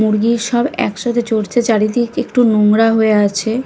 মুরগি সব একসাথে চড়ছে চারিদিক একটু নুংরা হয়ে আছে।